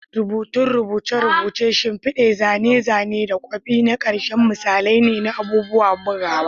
Rubutun rubuce-rubuce, shimfidu, zane-zane, da kwafi na ƙarshe misalai ne na abubuwan bugawa.